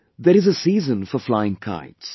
There is a season for flying kites